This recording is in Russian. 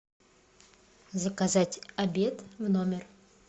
заказать обед в номер